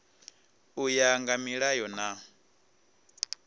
u ya nga milayo na